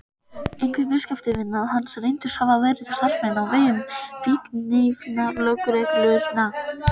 Einhverjir viðskiptavina hans reyndust hafa verið starfsmenn á vegum fíkniefnalögreglunnar.